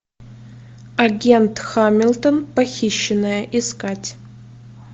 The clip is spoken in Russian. агент хамилтон похищенная искать